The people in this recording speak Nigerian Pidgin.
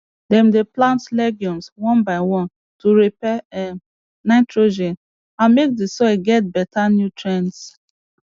dem dey plant legumes one by one to repair um nitrogen and make d soil get beta nutrients